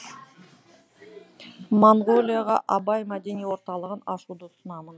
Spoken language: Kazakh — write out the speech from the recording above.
моңғолияға абай мәдени орталығын ашуды ұсынамын